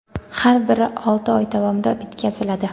har biri olti oy davomida bitkaziladi.